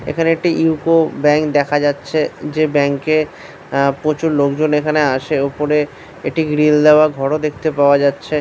এখানে একটি eco bank দেখা যাচ্ছে যে ব্যাংক এ প্রচুর লোকজন এখানে আসে ওপরে একটি গ্রিল দেওয়া ঘর ও দেখতে পাওয়া যাচ্ছে।